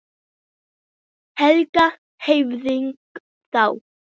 Helga: Hvernig þá?